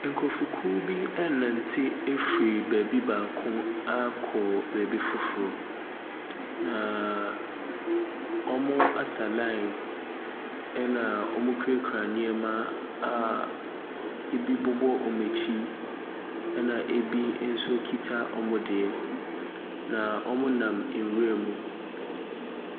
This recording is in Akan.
Nkurɔfokuo birenante afiri baabi baako akɔ baabi foforɔ, Naaaa wɔasa line ɛna wɔkurakura nneɛma a ɛbi bobɔ wɔn akyi, ɛna ɛbi nso kita wɔn deɛ, na wɔnam nwira mu.